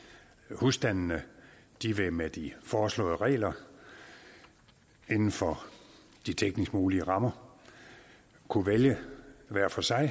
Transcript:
husstandene vil med de foreslåede regler inden for de teknisk mulige rammer kunne vælge hver for sig